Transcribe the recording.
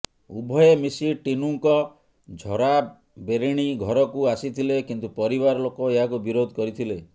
ଉଭୟେ ମିଶି ଟିନୁଙ୍କ ଝରାବେରିଣି ଘରକୁ ଆସିଥିଲେ କିନ୍ତୁ ପରିବାର ଲୋକ ଏହାକୁ ବିରୋଧ କରିଥିଲେ